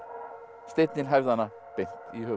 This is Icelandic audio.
steinninn hæfði hana beint í höfuðið